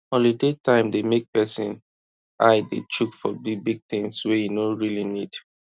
holiday time dey make person eye dey chook for big big things wey e no really need